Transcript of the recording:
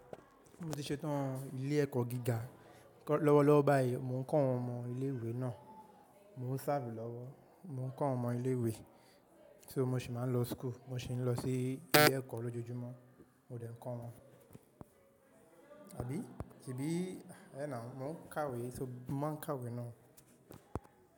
Mo ti ṣetán ilé ẹ̀kọ́ gíga, lọ́wọ́lọ́wọ́ báyìí mò ń kọ́ àwọn ọmọ ilé ìwé náà. Mò ń ṣávù lọ́wọ́, mò ń kọ́ àwọn ọmọ ilé ìwé. So mo sì máa ń lọ school, mo sì ń lọ sí ilé ẹ̀kọ́ lójoojúmọ́, mo de ń kọ́ wọn. Àbí? Ṣìbí? Hé náà, mò ń kàwé, so má ń kàwé náà.